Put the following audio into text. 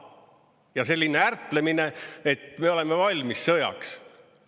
Ja selline ärplemine, et me oleme valmis sõjaks.